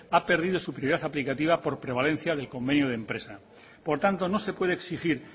ha perdido su prioridad aplicativa por prevalencia del convenio de empresa por tanto no se puede exigir